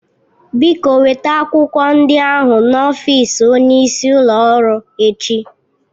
Biko weta akwụkwọ ndị ahụ n'ọfịs onyeisi ụlọ ọrụ echi